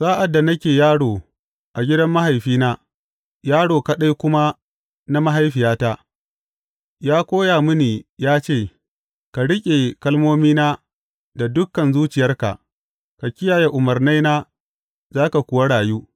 Sa’ad da nake yaro a gidan mahaifina, yaro kaɗai kuma na mahaifiyata, ya koya mini ya ce, Ka riƙe kalmomina da dukan zuciyarka; ka kiyaye umarnaina za ka kuwa rayu.